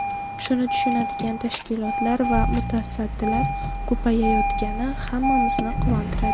Shuni tushunadigan tashkilotlar va mutasaddilar ko‘payayotgani hammamizni quvontiradi.